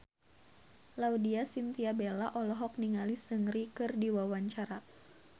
Laudya Chintya Bella olohok ningali Seungri keur diwawancara